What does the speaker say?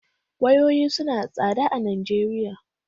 Wayoyi suna da tsada a Najeriya